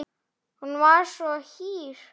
Hún var svo hýr.